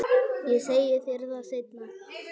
Ég segi þér það seinna.